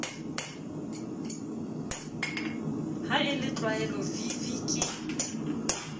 ha e le tlwaelovv ke